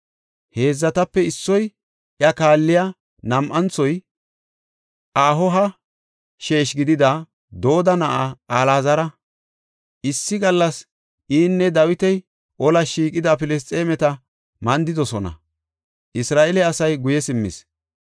Heedzatape issoy, iya kaalliya nam7anthoy, Ahoha sheeshi gidida Dodo na7aa Alaazara. Issi gallas inne Dawiti olas shiiqida Filisxeemeta mandidosona; Isra7eele asay guye simmis.